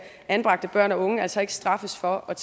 anbragte børn og unge altså ikke straffes for at